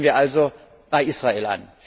Setzen wir also bei Israel